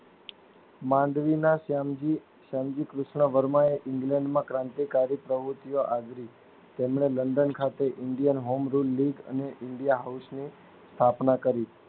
માંડવીના સેન્જી સેન્જી કૃષ્ણ વર્મા એ ઈંગ્લેન્ડમાં ક્રાંતિકારી પ્રવુતિઓ આદરી તેમને લંડન ખાતે ઈન્ડયન હોમ રિલલિંક અને ઇન્ડિયા હોઉસ ની સ્થાપના કરી.